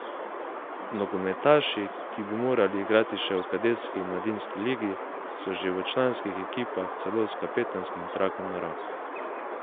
Nogometaši, ki bi morali igrati še v kadetski in mladinski ligi, so že v članskih ekipah celo s kapetanskim trakom na roki.